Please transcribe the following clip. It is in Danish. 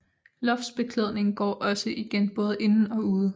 Loftsbeklædningen går også igen både inde og ude